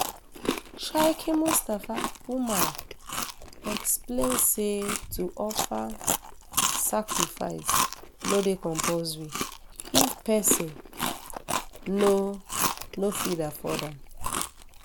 sheikh mustapha umar explain say to offer um sacrifice no dey compulsory if pesin um no no fit afford am